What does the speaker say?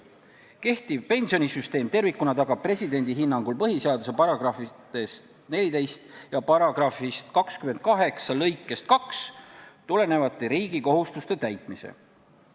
Kehtiv pensionisüsteem tervikuna tagab presidendi hinnangul põhiseaduse §-st 14 ja § 28 lõikest 2 tulenevate riigi kohustuste täitmise.